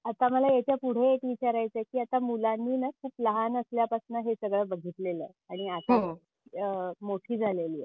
आता मला याच्या पुढे एक विचारायच आहे की आता मुलांना खूप लहान असल्या पासून हे सगळे बघितलेलं आहे आणि हो आता मोठी झालेली आहेत.